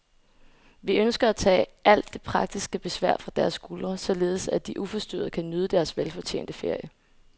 Vi ønsker at tage alt det praktiske besvær fra deres skuldre, således at de uforstyrret kan nyde deres velfortjente ferie.